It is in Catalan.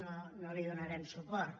no hi donarem suport